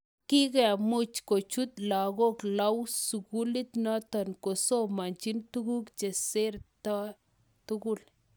Kikemuch kochut lagok lau sugulit notok kosomanjin tuguk chester tugul.